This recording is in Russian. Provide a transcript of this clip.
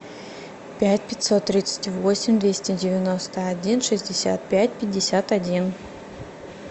пять пятьсот тридцать восемь двести девяносто один шестьдесят пять пятьдесят один